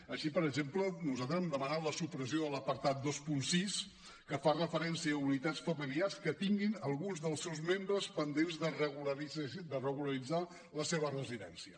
així per exemple nosaltres hem demanat la supressió de l’apartat vint sis que fa referència a unitats familiars que tinguin algun dels seus membres pendents de regularitzar la seva residència